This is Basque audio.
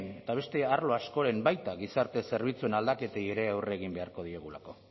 eta beste arlo askoren baita gizarte zerbitzuen aldaketei ere aurre egin beharko diegulako